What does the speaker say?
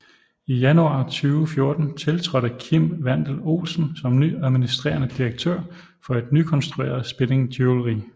I januar 2014 tiltrådte Kim Wandel Olsen som ny administrerende direktør for et nykonstrueret Spinning Jewelry